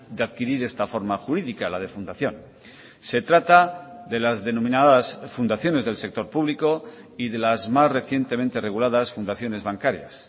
de adquirir esta forma jurídica la de fundación se trata de las denominadas fundaciones del sector público y de las más recientemente reguladas fundaciones bancarias